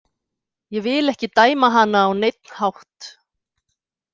Ég vil ekki dæma hana á neinn hátt.